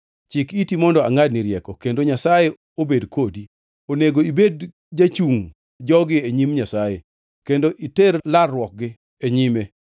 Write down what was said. Chik iti mondo angʼadni rieko kendo Nyasaye obed kodi. Onego ibed jachungʼ jogi e nyim Nyasaye kendo iter larruokgi e nyime.